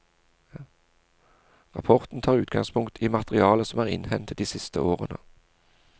Rapporten tar utgangspunkt i materiale som er innhentet de siste årene.